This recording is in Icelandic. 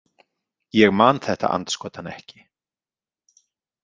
Ég man þetta andskotann ekki!